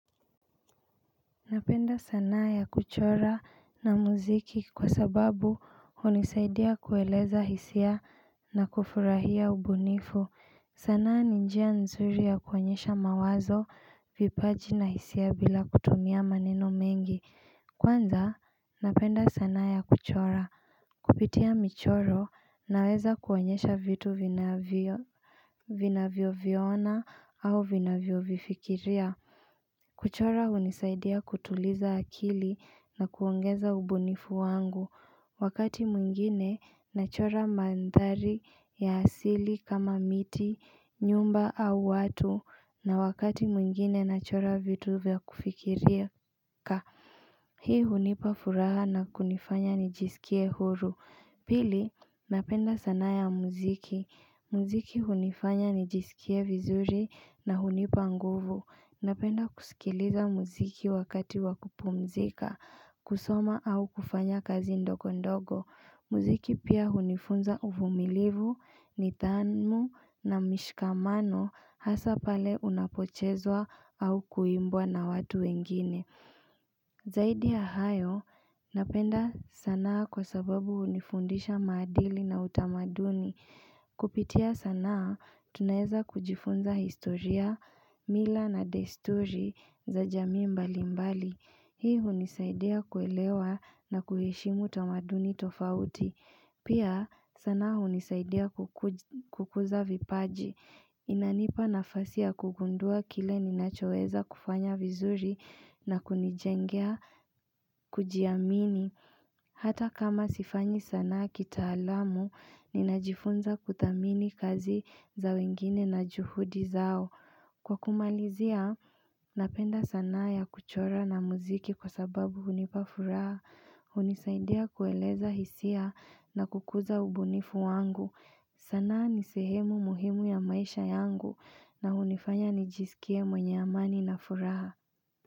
Napenda sanaa ya kuchora na muziki kwa sababu hunisaidia kueleza hisia na kufurahia ubunifu sanaa ni njia nzuri ya kuonyesha mawazo vipaji na hisia bila kutumia maneno mengi Kwanza napenda sanaa ya kuchora Kupitia michoro naweza kuonyesha vitu vinavyo vinavyoviona au vinavyo vifikiria kuchora hunisaidia kutuliza akili na kuongeza ubunifu wangu Wakati mwingine nachora mandhari ya asili kama miti, nyumba au watu na wakati mwingine nachora vitu vya kufikiria Hii hunipa furaha na kunifanya nijiskie huru Pili, napenda sanaa ya muziki Muziki hunifanya nijiskie vizuri na hunipa nguvu Napenda kusikiliza muziki wakati wa kupumzika, kusoma au kufanya kazi ndogo ndogo Muziki pia hunifunza uvumilivu, nidhamu na mishikamano hasaa pale unapochezwa au kuimbwa na watu wengine Zaidi ya hayo, napenda sanaa kwa sababu hunifundisha madili na utamaduni Kupitia sanaa, tunaweza kujifunza historia, mila na desturi za jamii mbali mbali. Hii hunisaidia kuelewa na kueshimu tamaduni tofauti. Pia sanaa hunisaidia kukuza vipaji. Inanipa nafasi ya kugundua kile ninachoweza kufanya vizuri na kunijengea kujiamini. Hata kama sifanyi sanaa kitaalamu, ninajifunza kuthamini kazi za wengine na juhudi zao. Kwa kumalizia, napenda sanaa ya kuchora na muziki kwa sababu hunipa furaha. Hunisaidia kueleza hisia na kukuza ubunifu wangu. Sanaa ni sehemu muhimu ya maisha yangu na hunifanya nijiskie mwenye amani na furaha.